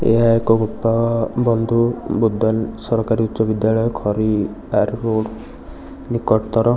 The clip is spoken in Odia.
ଏହା ଏକ ଗୋପାଳ ବନ୍ଧୁ ବୁଦନ୍ ସରକାରୀ ଉଚ୍ଚ ବିଦ୍ୟାଳୟ ନିକଟତର --